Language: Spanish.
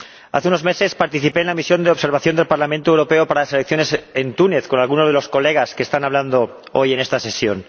Hace unos meses participé en la misión de observación del Parlamento Europeo para las elecciones en Túnez con alguno de los diputados que están hablando hoy en esta sesión.